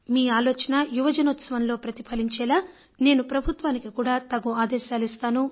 మీ ఆలోచన యువజనోత్సవంలో ప్రతిఫలించేలా నేను ప్రభుత్వానికి కూడా తగు ఆదేశాలు ఇస్తాను